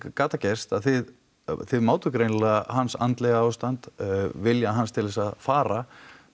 gat það gerst að þið þið mátuð greinilega hans andlega ástand vilja hans til að fara